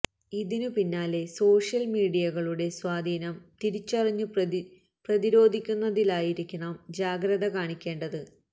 ഇതിനു പിന്നിലെ സോഷ്യല് മീഡിയകളുടെ സ്വാധീനം തിരിച്ചറിഞ്ഞു പ്രതിരോധിക്കുന്നതിലായിരിക്കണം ജാഗ്രത കാണിക്കേണ്ടത്